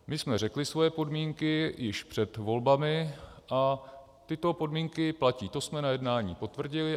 My jsme řekli svoje podmínky již před volbami a tyto podmínky platí, to jsme na jednání potvrdili.